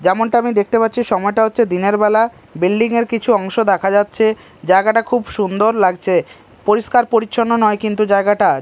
যেমনটা আমি দেখতে পাচ্ছি সময়টা হচ্ছে দিনের বেলা বিল্ডিং -এর কিছু অংশ দেখা যাচ্ছে জায়গাটা খুব সুন্দর লাগছে পরিষ্কার পরিচ্ছন্ন নয় কিন্তু জায়গাটা।